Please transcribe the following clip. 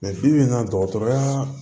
bi bi in na dɔgɔtɔrɔya